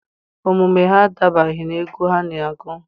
Omume ha adabaghị n'egwu ha na-agụ.